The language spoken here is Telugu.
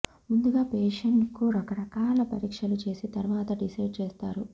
ముందుగా పేషెంట్ కు రకకరాల పరీక్షలు చేసి తర్వాత డిసైడ్ చేస్తారు